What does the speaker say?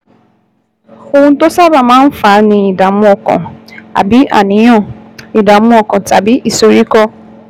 Ohun tó sábà máa ń fà á ni ìdààmú ọkàn, bí àníyàn, ìdààmú ọkàn tàbí ìsoríkọ́